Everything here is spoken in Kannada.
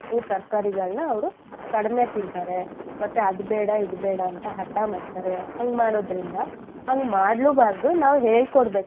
ಸೊಪ್ಪು ತರ್ಕಾರಿಗಳ್ನ ಅವ್ರು ಕಡ್ಮೆ ತಿನ್ತರೆ ಮತ್ತೆ ಅದು ಬೇಡ ಇದು ಬೇಡ ಅಂತ ಹಠ ಮಾಡ್ತಾರೆ ಹಂಗ್ ಮಾಡೋದ್ರಿಂದ ಹಂಗ್ ಮಾಡ್ಲೂಬಾರದು ಹೇಳ್ಕೊಡ್ಬೇಕು.